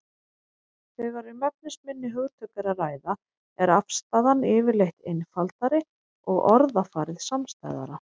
Þegar um efnisminni hugtök er að ræða er afstaðan yfirleitt einfaldari og orðafarið samstæðara.